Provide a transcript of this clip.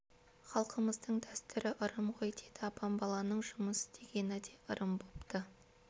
халқымыздың дәстүрі ырым ғой дейді апам баланың жұмыс істегені де ырым бопты